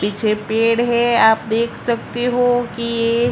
पीछे पेड़ है आप देख सकते हो कि--